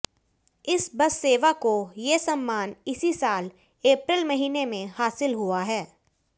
इस बस सेवा को ये सम्मान इसी साल अप्रैल महीने में हासिल हुआ है